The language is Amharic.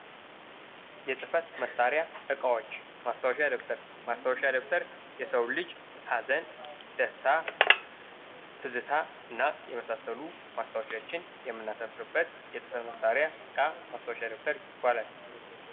የጽህፈት መሳሪያ ዕቃዎች ፦ ማስታወሻ ደብተር ፦ማስታወሻ ደብተር የሰው ልጅ ሀዘን ፣ ደስታ ፣ ትዝታ እና የመሳሰሉ ማስታወሻዎችን የምናሰፍርበት የጽህፈት መሳሪያ እቃ ማስታወሻ ደብተር ይባላል ።